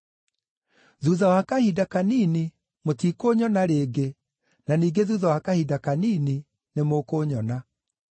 “Thuutha wa kahinda kanini mũtikũnyona rĩngĩ na ningĩ thuutha wa kahinda kanini nĩmũkũnyona.”